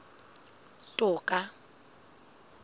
toka